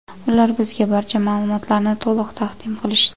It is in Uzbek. Ular bizga barcha ma’lumotlarni to‘liq taqdim qilishdi.